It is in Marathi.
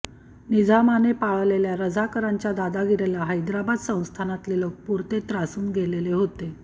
निजामाने पाळलेल्या रझाकरांच्या दादागिरीला हैद्राबाद संस्थानातले लोक पुरते त्रासून गेलेले होते